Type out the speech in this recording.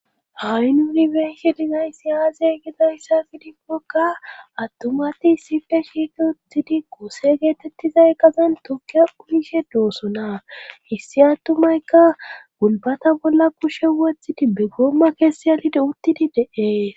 Ha'i nuuni benshe dizay si aaze gidayssa fidikkokka attumati issife shiiki uttidi koose geetettizay qazen tokkie uyishe doosona hissi attumayka gulbata bolla kushe wothidi be goomma keessi alide uttidi de7ee